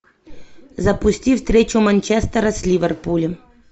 запусти встречу манчестера с ливерпулем